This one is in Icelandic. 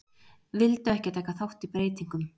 Vildu ekki taka þátt í breytingum